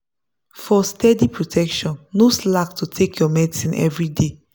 for steady protection no slack to take your medicine everyday.